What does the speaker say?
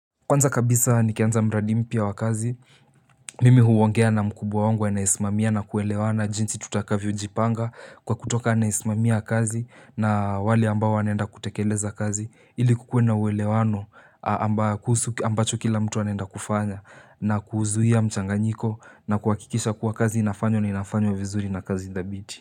Kwanza kabisa nikianza mradi mpya wa kazi mimi huongea na mkubwa wangu anayenisimamia na kuelewana jinsi tutakavyo jipanga kwa kutoka anayesimamia kazi na wale ambao wanaenda kutekeleza kazi ili kukue na uwelewano ambayo kuhusu ambacho kila mtu anaenda kufanya na kuzuia mchanganyiko na kuhakikisha kuwa kazi inafanywa na inafanywa vizuri na kazi thabiti.